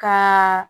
Ka